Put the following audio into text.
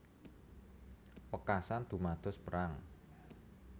Wekasan dumados perang